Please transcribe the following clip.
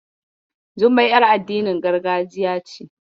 Jummai ƴar addinin gargajiya ce.